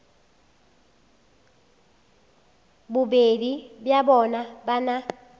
bobedi bja bona ba na